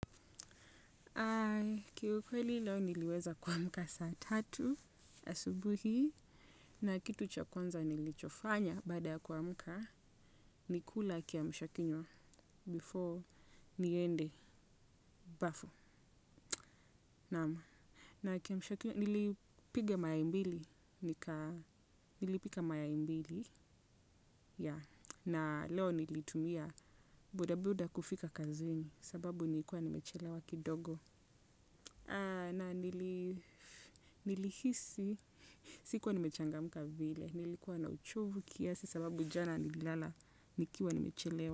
Kiukweli leo niliweza kuamka saa tatu asubuhi na kitu cha kwanza nilichofanya baada kuamka ni kula kiamsha kinywa before niende bafu. Naam na kiamsha kinywa nilipiga mayai mbili nilipika mayai mbili yeah na leo nilitumia boda boda kufika kazini sababu nilikuwa nimechelewa kidogo. Na nilihisi sikuwa nimechangamka vile nilikuwa na uchovu kiasi sababu jana nilala nikiwa nimechelewa.